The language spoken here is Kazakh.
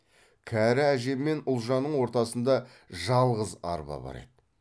кәрі әже мен ұлжанның ортасында жалғыз арба бар еді